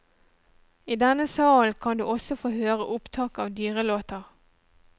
I denne salen kan du også få høre opptak av dyrelåter.